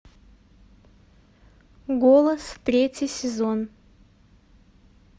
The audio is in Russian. голос третий сезон